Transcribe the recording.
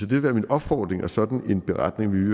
vil være min opfordring og sådan en beretning vil vi